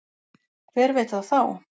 Hver veit það þá?